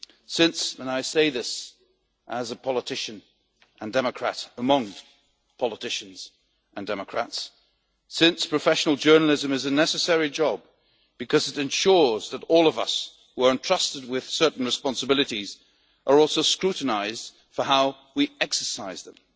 Since and I say this as a politician and democrat among politicians and democrats since professional journalism is a necessary job because it ensures that all of us who are entrusted with certain responsibilities are also scrutinised for how we exercise them,